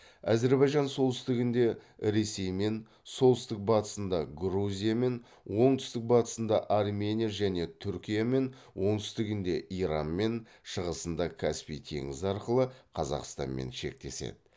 әзірбайжан солтүстігінде ресеймен солтүстік батысында грузиямен оңтүстік батысында армения және түркиямен оңтүстігінде иранмен шығысында каспий теңізі арқылы қазақстанмен шектеседі